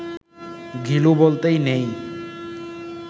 ঘিলু বলতেই নেই